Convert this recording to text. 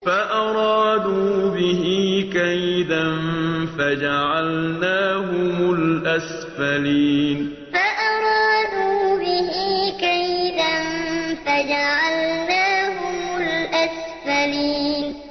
فَأَرَادُوا بِهِ كَيْدًا فَجَعَلْنَاهُمُ الْأَسْفَلِينَ فَأَرَادُوا بِهِ كَيْدًا فَجَعَلْنَاهُمُ الْأَسْفَلِينَ